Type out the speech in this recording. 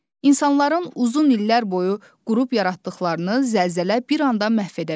İnsanların uzun illər boyu qurub yaratdıqlarını zəlzələ bir anda məhv edə bilir.